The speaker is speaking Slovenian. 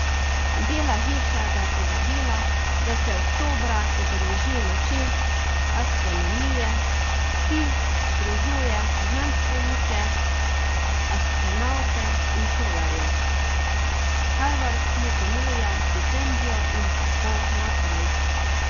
Bela hiša ga je povabila, da se oktobra udeleži Noči astronomije, ki združuje znanstvenike, astronavte in šolarje, Harvard mu ponuja štipendijo in tako naprej.